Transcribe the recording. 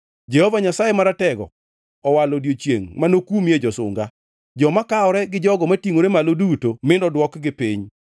Jehova Nyasaye Maratego owalo odiechiengʼ manokumie josunga, joma kawore gi jogo matingʼore malo duto (mi nodwokgi piny),